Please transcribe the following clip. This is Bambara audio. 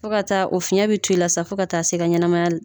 Fɔ ka taa o fiɲɛ bi to ila sa fɔ ka taa se i ka ɲɛnɛmaya